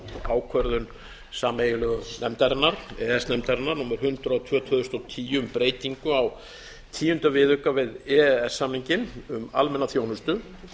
ákvörðun sameiginlegu e e s nefndarinnar númer hundrað og tvö tvö þúsund og tíu um breytingu á tíunda viðauka við e e s samninginn um almenna þjónustu